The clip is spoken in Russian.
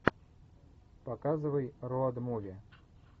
показывай роуд муви